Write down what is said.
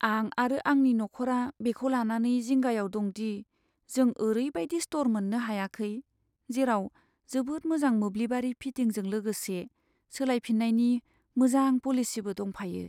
आं आरो आंनि नखरा बेखौ लानानै जिंगायाव दं दि जों ओरैबादि स्ट'र मोननो हायाखै, जेराव जोबोद मोजां मोब्लिबारि फिटिंजों लोगोसे सोलायफिन्नायनि मोजां पलिसिबो दंफायो।